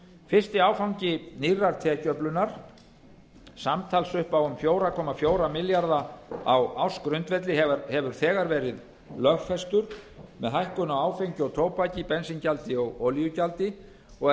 fyrsti áfangi í nýrri tekjuöflun samtals upp um fjóra komma fjóra milljarða á ársgrundvelli hefur þegar verið lögfestur með hækkun á áfengi og tóbaki bensíngjaldi og olíugjaldi og er